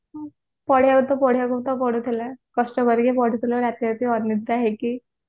ପଢିବା ତ ପଢିବା କଥା ପଢୁଥିଲେ କଷ୍ଟ କରିକି ପଢୁଥିଲେ ରାତି ରାତି ଅନିଦ୍ରା ହେଇକି